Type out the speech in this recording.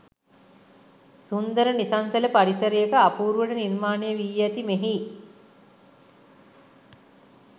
සුන්දර නිසංසල පරිසරයක අපූරුවට නිර්මාණයවී ඇති මෙහි